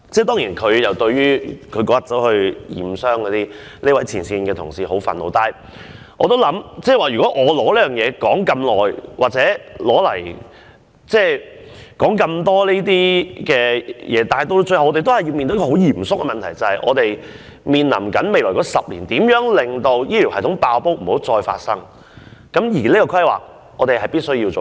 "當然，對於陳恒鑌議員當天前往驗傷，這位前線同事感到十分憤怒，但我也考慮到，即使我用很多時間來討論這件事，我們仍然要面對一個嚴肅的問題，便是在未來10年，如何避免醫療系統再次"爆煲"，所以規劃是必須做好的。